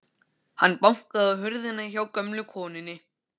Hann bankaði á hurðina hjá gömlu konunni.